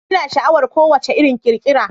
Ina sha'awar ko wacce irin kirkira